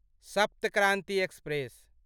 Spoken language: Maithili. सप्त क्रान्ति एक्सप्रेस